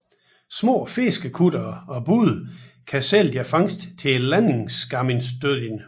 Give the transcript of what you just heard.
Små fiskekuttere og både kan sælge deres fangst til Landingarmistøðin